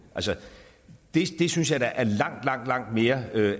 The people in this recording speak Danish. altså det synes jeg da er langt langt langt mere